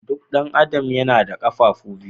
Duk ɗan adam yana da Ƙafofi biyu.